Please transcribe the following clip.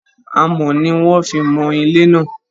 Amọ̀ ni wón fi mọ ilé náà.